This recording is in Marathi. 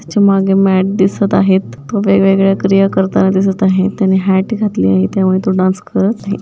त्याच्या मागे मॅट दिसत आहेत तो वेगवेगळ्या क्रिया करताना दिसत आहेत त्यांनी हॅट घातली आहे त्यावर तो डांस करत आहे.